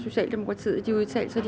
við segjum þetta